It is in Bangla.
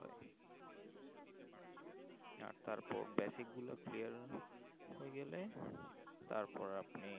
আহ তারপর basic গুলা clear হয়ে গেলে তারপর আপনি